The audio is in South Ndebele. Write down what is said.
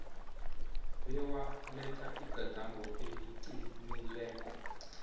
bewaletha igadango eliqinileko